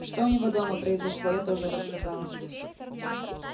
что у него дома произошло я тоже рассказала